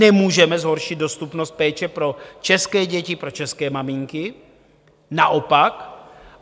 Nemůžeme zhoršit dostupnost péče pro české děti, pro české maminky, naopak.